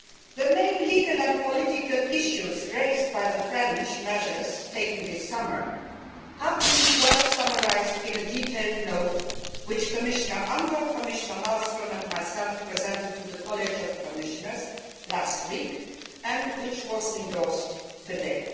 The main legal and political issues raised by the measures taken by France this summer have been well summarised in a detailed note which Commissioner Andor, Commissioner Malmström and I presented to the college of Commissioners last week and which was endorsed today.